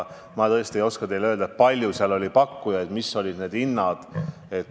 Ma tõesti ei oska teile öelda, kui palju seal pakkujaid oli ja mis need hinnad olid.